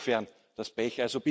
Insofern das Pech.